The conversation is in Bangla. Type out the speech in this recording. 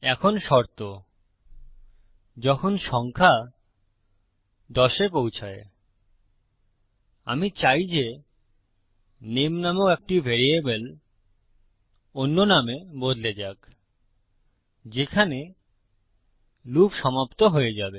এখন শর্ত যখন সংখ্যা 10 এ পৌছায় আমি চাই যে নেম নামক একটি ভ্যারিয়েবল অন্য নামে বদলে যাক যেখানে লুপ সমাপ্ত হয়ে যাবে